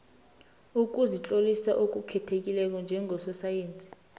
ukuzitlolisa okukhethekileko njengososayensi